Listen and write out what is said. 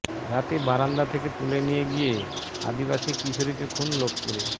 রাতে বারান্দা থেকে তুলে নিয়ে গিয়ে আদিবাসী কিশোরীকে খুন লোকপুরে